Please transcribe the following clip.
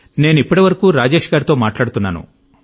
నేను ఇప్పటివరకూ రాజేశ్ గారి తో మాట్లాడుతున్నాను